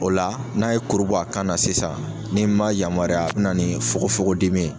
O la n'a ye kuru bɔ a kan na sisan ni ma yamaruya a bɛ na ni fokofokodimi ye.